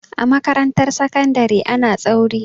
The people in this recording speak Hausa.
A makarantar sakandari ana tsauri.